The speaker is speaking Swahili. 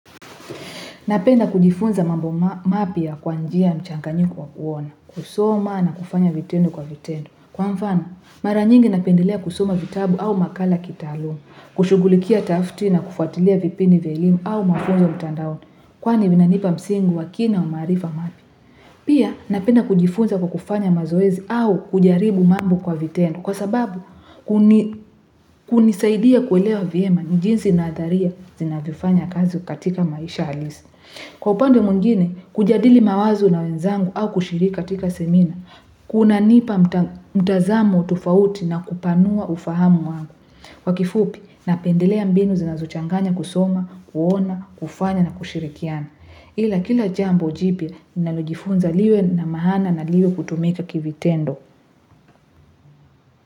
Napenda kujifunza mambo mapya kwanjia mchanganyiko wa kuona, kusoma na kufanya vitendo kwa vitendo. Kwa mfano, mara nyingi napendelea kusoma vitabu au makala kitaaluma, kushugulikia tafti na kufuatilia vipindi vya elimu au mafunzo mtandaoni, kwani vinanipa msingi wa kina wa maarifa mapya. Pia napenda kujifunza kwa kufanya mazoezi au kujaribu mambo kwa vitendo kwa sababu kunisaidia kuelewa vyema jinsi nadharia zinavifanya kazi katika maisha halisi. Kwa upande mwidngine, kujadili mawazo na wenzangu au kushiriki katika semina, kuna nipa mtazamo tofauti na kupanua ufahamu wangu. Kwa kifupi, napendelea mbinu zinazochanganya kusoma, kuona, kufanya na kushirikiana. Ila kila jambo jipya nalojifunza liwe na maana na liwe kutumika kivitendo.